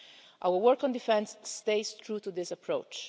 Our work on defence stays true to this approach.